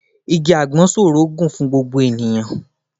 Igi àgbọn ṣòro gùn fún gbogbo ènìyàn